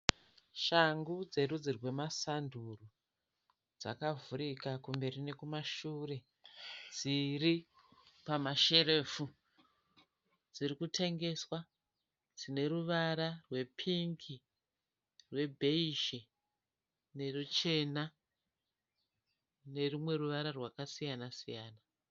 Shangu dzerudzi rwemasanduru dzakavhurika kumberi nekumashure. Dziri pamasherefu dziri kutengeswa. Dzine ruvara rwepingi, rwebhezhi neruchena nerumwe ruvara rwakasiyana siyana.